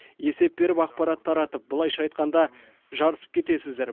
есеп беріп ақпарат таратып былайша айтқанда жарысып кетесіздер